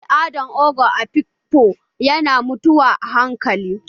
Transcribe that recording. Al'adar ogo a Afikfo yana mutuwa a hankali